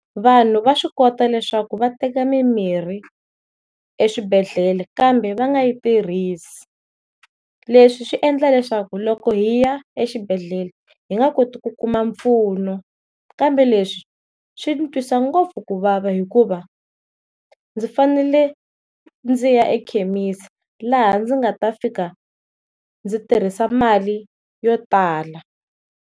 Vanhu va swi kota leswaku va teka mimirhi eswibedhlele kambe va nga yi tirhisi, leswi swi endla leswaku loko hi ya exibedhlele hi nga koti ku kuma mpfuno kambe leswi swi ndzi twisa ngopfu ku vava hikuva ndzi fanele ndzi ya ekhemisi laha ndzi nga ta fika ndzi tirhisa mali yo tala.